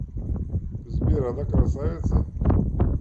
сбер она красавица